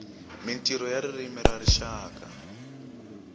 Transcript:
mintirho ya ririmi ya rixaka